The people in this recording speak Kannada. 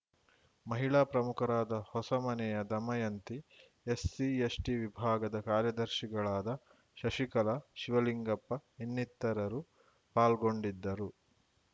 ಮಹಿಳಾ ಪ್ರಮುಖರಾದ ಹೊಸಮನೆಯ ದಮಯಂತಿ ಎಸ್‌ಸಿ ಎಸ್‌ಟಿ ವಿಭಾಗದ ಕಾರ್ಯದರ್ಶಿಗಳಾದ ಶಶಿಕಲಾ ಶಿವಲಿಂಗಪ್ಪ ಇನ್ನಿತರರು ಪಾಲ್ಗೊಂಡಿದ್ದರು